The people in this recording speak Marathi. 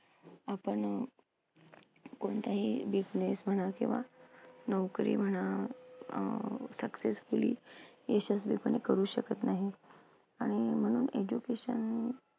आपण कोणताही business म्हणा किंवा नोकरी म्हणा अं successfully यशस्वीपणे करू शकत नाही, आणि म्हणून education